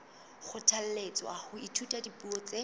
kgothalletswa ho ithuta dipuo tse